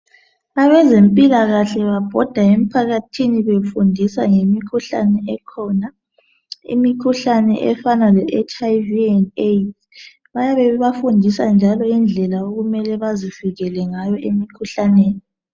Abezempilakahle babhoda emphakathini befundisa ngemikhuhlane ekhona efana leHIV/ AIDS. Bayabe bebafundisa njalo indlela okumele bazivikele ngayo emikhuhlaneni.